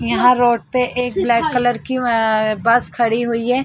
यहाँ रोड पे एक ब्लैक कलर की ए ए बस खड़ी हुई है।